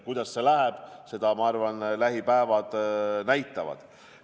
Kuidas see läheb, seda näitavad lähipäevad.